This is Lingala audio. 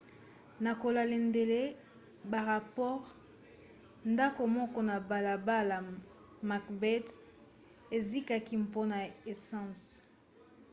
na kolandela barapore ndako moko na balabala macbeth ezikaki mpona esanse